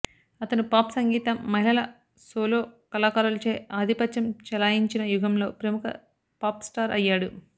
అతను పాప్ సంగీతం మహిళల సోలో కళాకారులచే ఆధిపత్యం చెలాయించిన యుగంలో ప్రముఖ పాప్ స్టార్ అయ్యాడు